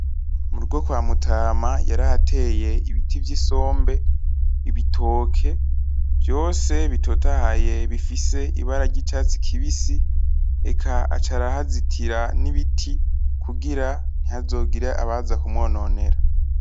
Mu rugo kwa mutama, yarahateye ibiti vy'isombe. Ibitoke vyose bitotahaye bifise ibara ryicatsi kibisi, reka aca arahazitira nibiti kugira ntihazogire abaza kumwononera.